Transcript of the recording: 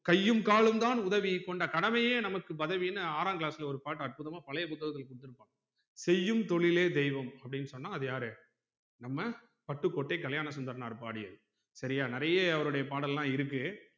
கையும் காலும் தான் உதவி கொண்ட கடமையே நமக்கு பதவினு ஆறாம் class ல ஒரு பாட்டுஅற்புதமா பழைய புத்தகத்துல குடுத்துருப்பா செய்யும் தொழிலே தெய்வம் அப்டின்னு சொன்ன அது யாரு நம்ம பட்டுக்கோட்டை கல்யாணசுந்தரனார் பாடியது செரியா நிறைய அவருடைய பாடல்லா இருக்கு